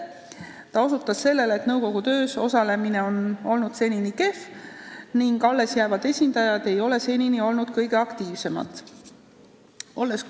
Ta osutas sellele, et nõukogu töös osalemine on senini kehv olnud, sh ei ole alles jäävad esindajad just kõige aktiivsemad olnud.